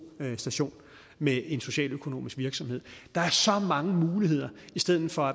station med en socialøkonomisk virksomhed der er så mange muligheder i stedet for